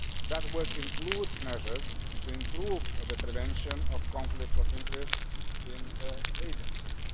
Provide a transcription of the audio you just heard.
That work includes measures to improve the prevention of conflicts of interest in agencies.